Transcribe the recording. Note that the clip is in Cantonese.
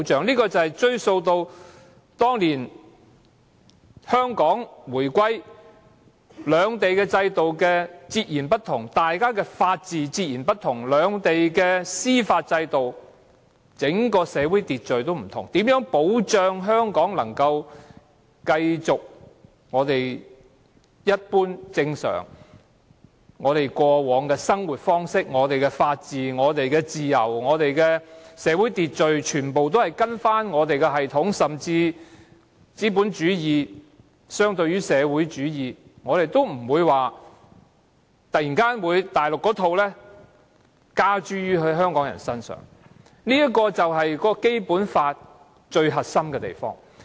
這要追溯至當年香港回歸時，因為兩地的制度截然不同，兩地的法治、司法制度和整個社會秩序也不同，如何保障香港可繼續我們一般正常、過往的生活方式，無論是法治、自由或社會秩序，全部也依循我們的系統？甚至是資本主義相對於社會主義，我們也不會將內地的一套加諸香港人身上，這便是《基本法》最核心之處。